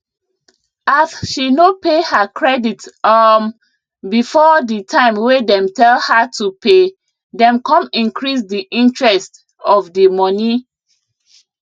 as she no pay her credit um before ditime wey dem tell her to pay dem come increase diinterest of dimoney